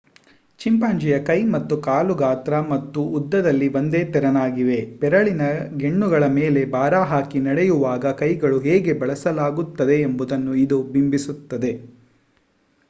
ಚಿಂಪಾಂಜಿಯ ಕೈ ಮತ್ತು ಕಾಲು ಗಾತ್ರ ಮತ್ತು ಉದ್ದದಲ್ಲಿ ಒಂದೇ ತೆರನಾಗಿವೆ ಬೆರಳಿನ ಗೆಣ್ಣುಗಳ ಮೇಲೆ ಭಾರಹಾಕಿ ನಡೆಯುವಾಗ ಕೈಯನ್ನು ಹೇಗೆ ಬಳಸಲಾಗುತ್ತದೆಯೆಂಬುದನ್ನು ಇದು ಬಿಂಬಿಸುತ್ತದೆ